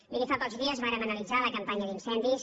miri fa pocs dies vàrem analitzar la campanya d’incendis